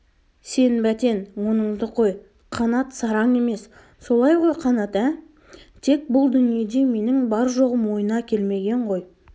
сен бәтен оныңды қой қанат сараң емес солай ғой қанат ә тек бұл дүниеде менің бар-жоғым ойына келмеген ғой